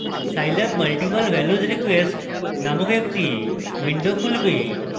scilab multiple values request named একটি window খুলবে